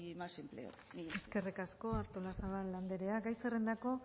más empleo mila esker eskerrik asko artolazabal andrea gai zerrendako